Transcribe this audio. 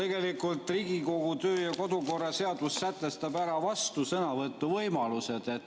Tegelikult sätestab Riigikogu kodu‑ ja töökorra seadus ära vastusõnavõtu võimalused.